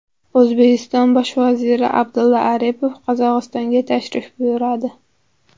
O‘zbekiston bosh vaziri Abdulla Aripov Qirg‘izistonga tashrif buyuradi.